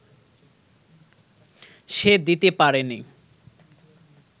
সে দিতে পারেনি